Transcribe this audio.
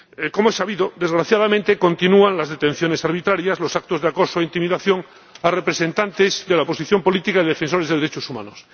Como es sabido, desgraciadamente, continúan las detenciones arbitrarias y los actos de acoso e intimidación a representantes de la oposición política y defensores de los derechos humanos.